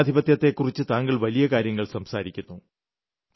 ജനാധിപത്യത്തെക്കുറിച്ച് താങ്കൾ വലിയ കാര്യങ്ങൾ സംസാരിക്കുന്നു